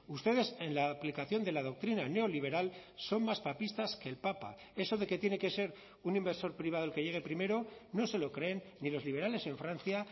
ustedes en la aplicación de la doctrina neoliberal son más papistas que el papa eso de que tiene que ser un inversor privado el que llegue primero no se lo creen ni los liberales en francia